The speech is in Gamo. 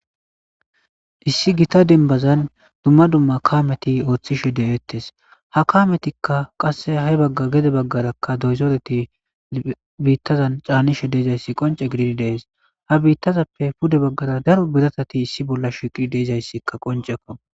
Issi gita dembazan dumma dumma kameti ooththishe de'eettes ha kametikka qasse ha'e bagga gede baggarakka doyzoreti biittazan caanishe deezayssi qonce gididi dees ha biittazappe pude baggara daro biratati issi bolla shiqi deezayssikka qoncekko